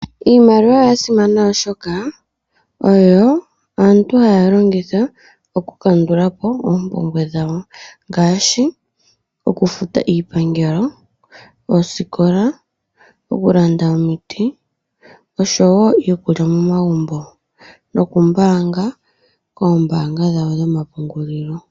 Iimaliwa oyasimana oshoka oyo aantu haya longitha oku kandulapo oompumbwe dhawo ngaashi oku futa iipangelo, oosikola, okulanda omiti, osho woo yokulya momagumbo noku mbaanga koombaanga dhawo dho mapungulilo.